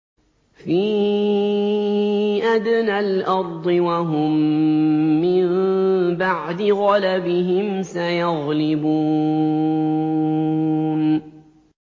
فِي أَدْنَى الْأَرْضِ وَهُم مِّن بَعْدِ غَلَبِهِمْ سَيَغْلِبُونَ